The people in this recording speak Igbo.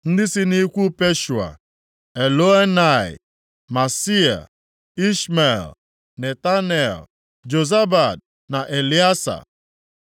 Ndị si nʼikwu Pashua: Elioenai, Maaseia, Ishmel, Netanel, Jozabad, na Eleasa.